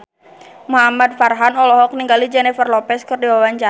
Muhamad Farhan olohok ningali Jennifer Lopez keur diwawancara